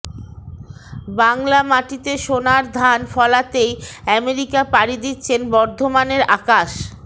বাংলা মাটিতে সোনার ধান ফলাতেই আমেরিকা পাড়ি দিচ্ছেন বর্ধমানের আকাশ